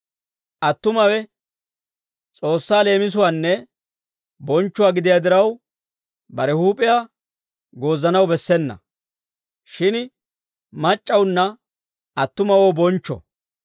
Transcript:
Attumawe S'oossaa leemisuwaanne bonchchuwaa gidiyaa diraw, bare huup'iyaa goozanaw bessena; shin mac'c'awunna attumawoo bonchcho.